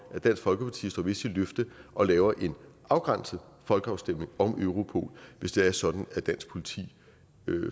at dansk folkeparti står ved sit løfte og laver en afgrænset folkeafstemning om europol hvis det er sådan at dansk politi